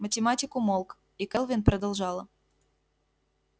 математик умолк и кэлвин продолжала